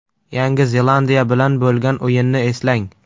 Yangi Zelandiya bilan bo‘lgan o‘yinni eslang.